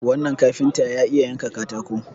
wannan kafinta ya iya yanka katako